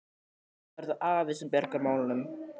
En þá er það afi sem bjargar málunum.